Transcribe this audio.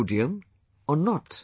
Sodium or not